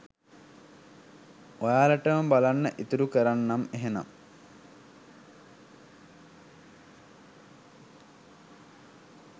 ඔයාලටම බලන්න ඉතුරු කරන්නම් එහෙනම්.